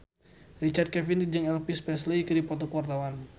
Richard Kevin jeung Elvis Presley keur dipoto ku wartawan